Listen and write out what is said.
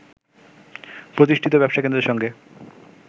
প্রতিষ্ঠিত ব্যবসা কেন্দ্রের সঙ্গে